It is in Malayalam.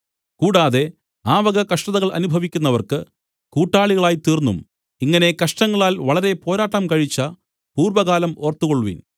കൂടാതെ ആ വക കഷ്ടതകൾ അനുഭവിക്കുന്നവർക്ക് കൂട്ടാളികളായിത്തീർന്നും ഇങ്ങനെ കഷ്ടങ്ങളാൽ വളരെ പോരാട്ടം കഴിച്ച പൂർവ്വകാലം ഓർത്തുകൊൾവിൻ